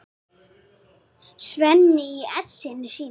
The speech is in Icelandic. Svenni í essinu sínu.